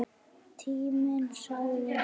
Tíminn sagði